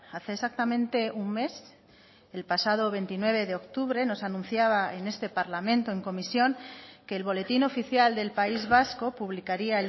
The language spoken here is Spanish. hace exactamente un mes el pasado veintinueve de octubre nos anunciaba en este parlamento en comisión que el boletín oficial del país vasco publicaría